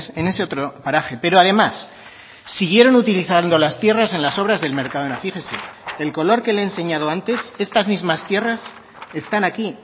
en ese otro paraje pero además siguieron utilizando las tierras en las obras del mercadona fíjese el color que le he enseñado antes estas mismas tierras están aquí